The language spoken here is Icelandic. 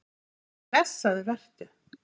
Já blessaður vertu.